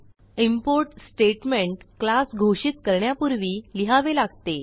import statement class घोषित करण्यापूर्वी लिहावे लागते